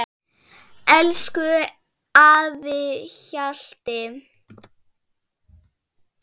Elsku afi Hjalti.